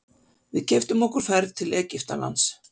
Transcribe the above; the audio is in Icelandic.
Við keyptum okkur ferð til Egyptalands.